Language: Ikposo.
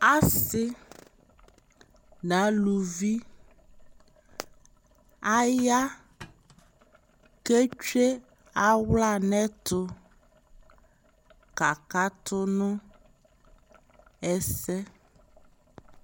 Asi na luvi aya kɛ tsue aɣla nɛ tu kaka tu nu ɛsɛ